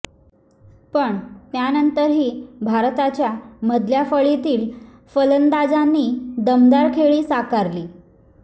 पण त्यानंतरही भारताच्या मधल्या फळीतील फलंदाजांनी दमदार खेळी साकारली